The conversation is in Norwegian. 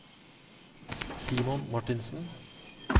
Simon Martinsen